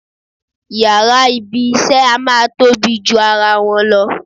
Yàrá ibi-iṣẹ́ a máa tóbi ju ara wọn lọ.